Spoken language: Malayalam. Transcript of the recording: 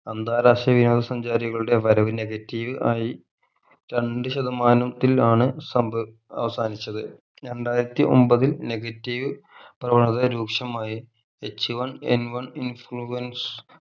അന്താരാഷ്ട്ര വിനോദ സഞ്ചാരികളുടെ വരവ് negative ആയി രണ്ട് ശതമാനത്തിൽ ആണ് സംഭവി അവസാനിച്ചത് രണ്ടായിരത്തി ഒമ്പതിൽ negative വളരെ രൂക്ഷമായി H one N one influence